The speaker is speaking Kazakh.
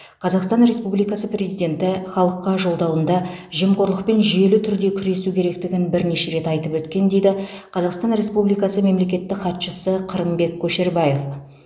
қазақстан республикасы президенті халыққа жолдауында жемқорлықпен жүйелі түрде күресу керектігін бірнеше рет айтып өткен дейді қазақстан республикасы мемлекеттік хатшысы қырымбек көшербаев